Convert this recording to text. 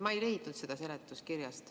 Ma ei leidnud seletuskirjast.